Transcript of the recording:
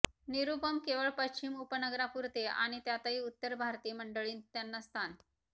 निरूपम केवळ पश्चिम उपनगरापुरते आणि त्यातही उत्तर भारतीय मंडळींत त्यांना स्थान